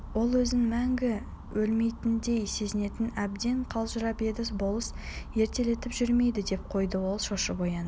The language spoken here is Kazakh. ол өзін мәңгі өлмейтіндей сезінетін әбден қалжырап еді болыс ертелетіп жүрмейді деп қойды ол шошып оянды